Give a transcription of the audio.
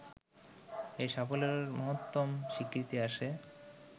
এই সাফল্যের মহত্তম স্বীকৃতি আসে